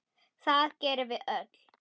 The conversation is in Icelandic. Það gerum við öll.